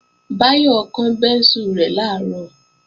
Báyọ̀ kán bẹ́ńsù rẹ̀ làárọ̀